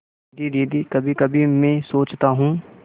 दीदी दीदी कभीकभी मैं सोचता हूँ